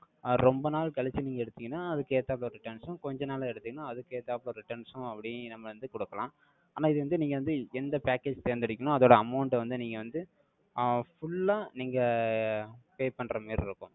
அஹ் ரொம்ப நாள் கழிச்சு, நீங்க எடுத்தீங்கன்னா, அதுக்கு ஏத்தாப்புல returns ம், கொஞ்ச நாள்ல எடுத்தீங்கன்னா, அதுக்கு ஏத்தாப்புல, returns ம், அப்படியும், நம்ம வந்து குடுக்கலாம். ஆனா, இது வந்து, நீங்க வந்து, எந்த package தேர்ந்தெடுக்கீனோ அதோட amount அ வந்து, நீங்க வந்து, ஆஹ் full ஆ, நீங்க, pay பண்ற மாரி இருக்கும்.